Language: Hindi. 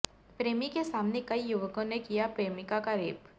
प्रेमी के सामने कई युवकों ने किया प्रेमिका का रेप